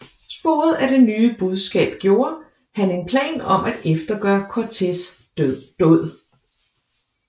Sporet af det nye budskab gjorde han en plan om at eftergøre Cortés dåd